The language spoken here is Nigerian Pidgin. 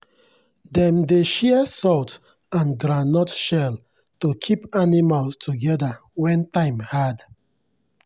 dem dey share salt and groundnut shell to keep animals together when time hard.